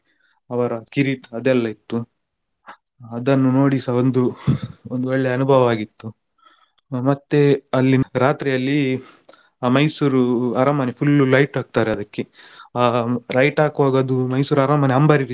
ಅವ್ರ ಕಿರೀಟ ಅದೆಲ್ಲ ಇತ್ತು ಅದನ್ನು ನೋಡಿಸ ಒಂದು ಒಂದ್ ಒಳ್ಳೆ ಅನುಭವ ಆಗಿತ್ತು. ಮತ್ತೆ ಅಲ್ಲಿ ರಾತ್ರಿ ಅಲ್ಲಿ ಆ Mysore ಅರಮನೆ full light ಹಾಕ್ತಾರೆ ಅದಕ್ಕೆ ಆ light ಹಾಕ್ವಾಗ ಅದು Mysore ಅರಮನೆ ಅಂಬಾರಿ ರೀತಿ.